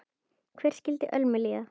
Hvernig skyldi Ölmu líða?